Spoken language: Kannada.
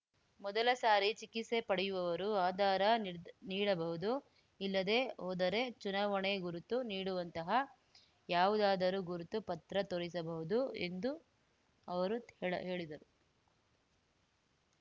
ಮೊದಲ ಸಾರಿ ಚಿಕಿತ್ಸೆ ಪಡೆಯುವವರು ಆಧಾರ ನೀರ್ ನೀಡಬಹುದು ಇಲ್ಲದೇ ಹೊದರೆ ಚುನಾವಣೆ ಗುರುತು ನೀಡುವಂತಹ ಯಾವುದಾದರೂ ಗುರುತು ಪತ್ರ ತೋರಿಸಬಹುದು ಎಂದು ಅವರು ಹೇಳಿದರು